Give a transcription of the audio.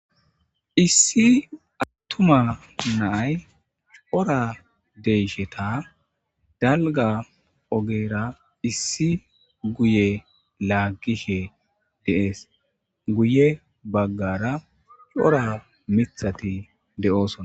issi attuma naay cora deysheta dalga ogera issi guye laaggishe deees guye baggara cora mithati de7oosona